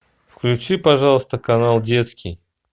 включи пожалуйста канал детский